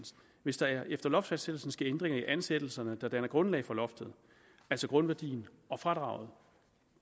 hvis der efter loftfastsættelsen sker ændringer i ansættelserne der danner grundlag for loftet altså grundværdien og fradraget